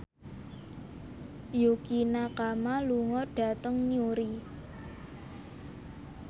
Yukie Nakama lunga dhateng Newry